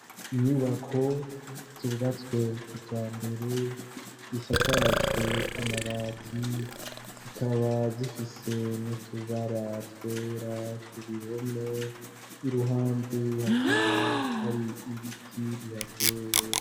inyubako zubatswe kija mbere gisakajwe amabati zikaba zifise nutubara twera ku bihome iruhande hakaba hari ibiti bihatewe